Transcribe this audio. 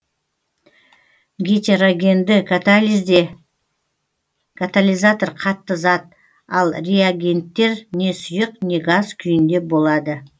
гетерогенді катализде катализатор қатты зат ал реагенттер не сұйық не газ күйінде болады